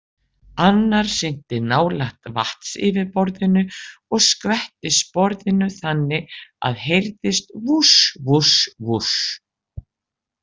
Annar synti nálægt vatnsyfirborðinu og skvetti sporðinum þannig að heyrðist vúsh vúsh vúsh.